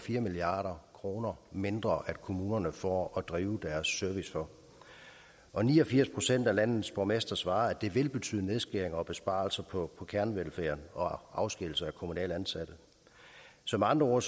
milliard kroner mindre kommunerne får at drive deres service for og ni og firs procent af landets borgmestre svarer at det vil betyde nedskæringer og besparelser på kernevelfærden og afskedigelse af kommunalt ansatte så med andre ord